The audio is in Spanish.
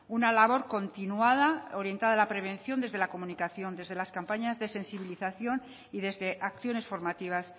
una labor continuada orientada a la prevención desde la comunicación desde las campañas de sensibilización y desde acciones formativas